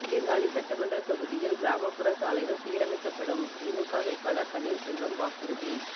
சீர்காழி சட்டமன்ற தொகுதியில் கிராமப்புற சாலைகள் சீரமைக்கப்படும் திமுக வேட்பாளர் பன்னீர்செல்வம் வாக்குறுதி